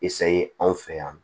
anw fɛ yan nɔ